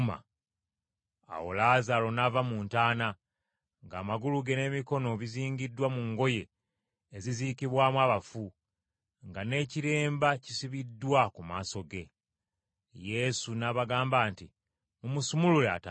Awo Laazaalo n’ava mu ntaana, ng’amagulu ge n’emikono bizingiddwa mu ngoye eziziikibwamu abafu, nga n’ekiremba kisibiddwa ku maaso ge. Yesu n’abagamba nti, “Mumusumulule atambule.”